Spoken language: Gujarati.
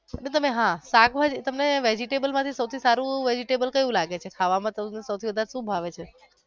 હા શાકભાજી તમને vegetable માંથી સૌથી સારું vegetable કયું લાગે છે ખાવા માં સૌથી વધારે સુ ભાવે છે.